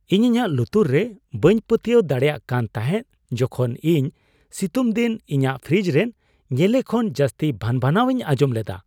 ᱤᱧ ᱤᱧᱟᱹᱜ ᱞᱩᱛᱩᱨᱜᱮ ᱵᱟᱹᱧ ᱯᱟᱹᱛᱭᱟᱹᱣ ᱫᱟᱲᱮᱭᱟᱜ ᱠᱟᱱ ᱛᱟᱦᱮᱸᱫ ᱡᱚᱠᱷᱚᱱ ᱤᱧ ᱥᱤᱛᱩᱝ ᱫᱤᱱ ᱤᱧᱟᱹᱜ ᱯᱷᱨᱤᱡᱽ ᱨᱮᱱ ᱧᱮᱞᱮ ᱠᱷᱚᱱ ᱡᱟᱹᱥᱛᱤ ᱵᱷᱟᱱᱼᱵᱷᱟᱱᱟᱣ ᱤᱧ ᱟᱸᱡᱚᱢ ᱞᱮᱫᱟ ᱾